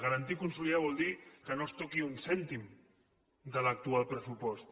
garantir i consolidar vol dir que no es toqui un cèntim de l’actual pressupost